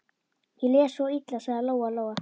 Ég les svo illa, sagði Lóa-Lóa.